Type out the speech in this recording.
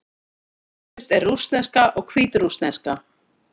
Skyldust eru rússneska og hvítrússneska.